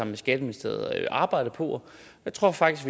med skatteministeriet arbejdet på og jeg tror faktisk